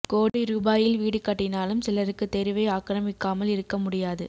கோடி ரூபாயில் வீடு கட்டினாலும் சிலருக்கு தெருவை ஆக்கிரமிக்காமல் இருக்க முடியாது